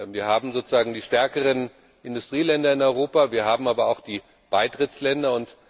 Wir haben die stärkeren Industrieländer in Europa, wir haben aber auch die Beitrittsländer.